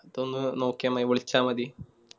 അപ്പൊന്ന് നോക്കിയാ മതി വിളിച്ച മതി